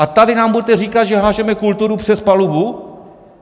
A tady nám budete říkat, že házíme kulturu přes palubu?